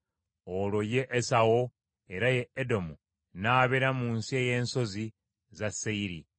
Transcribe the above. Olwo ye Esawu, era ye Edomu, n’abeera mu nsi ey’ensozi za Seyiri.